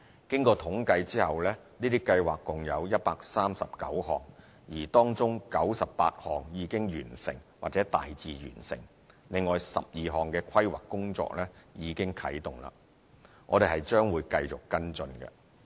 經統計後，這些計劃共有139項，而當中98項已經完成或大致完成，另有12項的規劃工作已啟動了，我們將會繼續跟進。